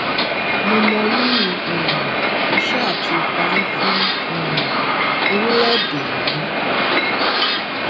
mo mọ rírì um iṣẹ àti ipa yín fún um orílẹèdè yìí